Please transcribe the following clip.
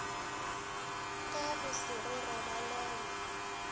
ka go se re robalele